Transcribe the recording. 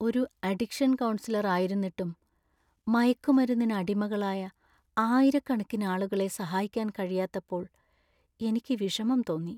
ഒരു addiction counsellor ആയിരുന്നിട്ടും, മയക്കുമരുന്നിന് അടിമകളായ ആയിരക്കണക്കിന് ആളുകളെ സഹായിക്കാൻ കഴിയാത്തപ്പോൾ എനിക്ക് വിഷമം തോന്നി.